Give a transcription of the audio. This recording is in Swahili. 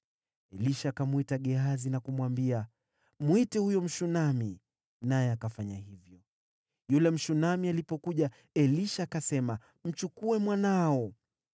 Elisha akamwita Gehazi na kumwambia, “Mwite huyo Mshunami.” Naye akafanya hivyo. Yule Mshunami alipokuja, Elisha akasema, “Mchukue mwanao.”